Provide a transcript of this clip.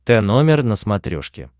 тномер на смотрешке